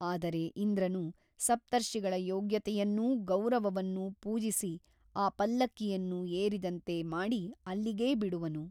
ಆದರೆ ಇಂದ್ರನು ಸಪ್ತರ್ಷಿಗಳ ಯೋಗ್ಯತೆಯನ್ನೂ ಗೌರವವನ್ನೂ ಪೂಜಿಸಿ ಆ ಪಲ್ಲಕ್ಕಿಯನ್ನು ಏರಿದಂತೆ ಮಾಡಿ ಅಲ್ಲಿಗೇ ಬಿಡುವನು.